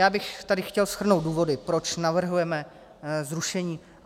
Já bych tady chtěl shrnout důvody, proč navrhujeme zrušení...